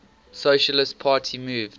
socialist party moved